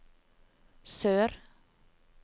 sør